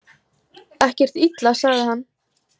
Ekkert illa, sagði hann.